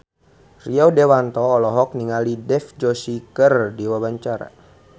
Rio Dewanto olohok ningali Dev Joshi keur diwawancara